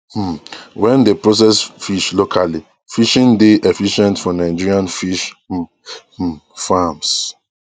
um wen dey process fish locally fishing dey efficient for nigerian fish um um farms